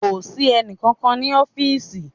Kò sí ẹnì kankan ní ọfísì